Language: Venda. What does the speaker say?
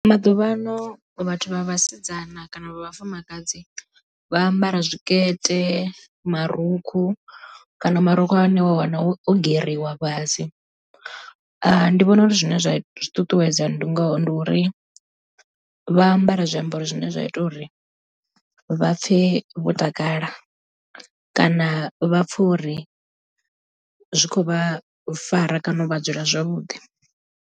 Maḓuvhano vhathu vha vhasidzana kana vha vhafumakadzi vha ambara zwikete, marukhu kana marukhu a hone wa wana o geriwa fhasi ndi vhona uri zwine zwa zwiṱuṱuwedza ndingo ndi uri vha ambara zwiambaro zwine zwa ita uri vha pfhe vho takala kana vha pfhe uri zwi khou vha fara kana u vha dzula zwavhuḓi.